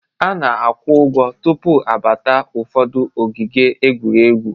A na-akwụ ụgwọ tụpụ abata ụfọdụ ogige egwuregwu